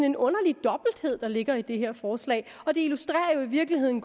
en underlig dobbelthed der ligger i det her forslag og det illustrerer i virkeligheden